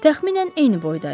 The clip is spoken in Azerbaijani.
Təxminən eyni boyda idik.